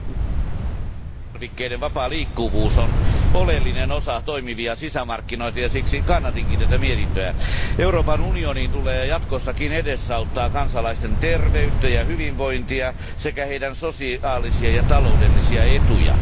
Arvoisa puhemies, elintarvikkeiden vapaa liikkuvuus on oleellinen osa toimivia sisämarkkinoita, ja siksi kannatinkin tätä mietintöä. Euroopan unionin tulee jatkossakin edesauttaa kansalaisten terveyttä ja hyvinvointia sekä heidän sosiaalisia ja taloudellisia etujaan.